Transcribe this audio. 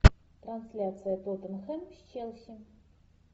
трансляция тоттенхэм с челси